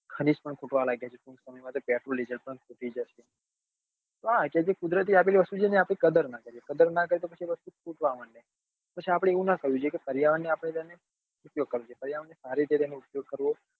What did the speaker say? ખનીજ પણ ખૂટવા લાગ્યા છે પછી અમુક સમય માં તો petrol diesle ખૂટી જશે તો આ છે કુદરતી આપેલી વસ્તુ છે એની આપને કદર નથી અને કદર નાં થાય તો વસ્તુ ખૂટવા લાગે પછી આપડે એવું નાં થવું જોઈએ કે પર્યાવરણ જો કૌશિક ભાઈ અઆપડે સારી રીતે તેનો ઉપયોગ કરવો